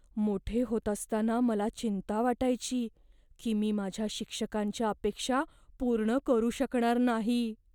मोठे होत असताना मला चिंता वाटायची की मी माझ्या शिक्षकांच्या अपेक्षा पूर्ण करू शकणार नाही.